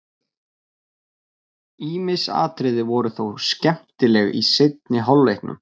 Ýmis atriði voru þó skemmtileg í seinni hálfleiknum.